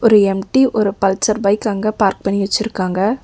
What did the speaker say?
ஒரு எம்_டி ஒரு பல்சர் பைக் அங்க பார்க் பண்ணி வச்சிருக்காங்க.